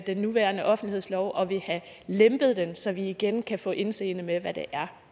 den nuværende offentlighedslov og vil have lempet den så vi igen kan få indseende med hvad det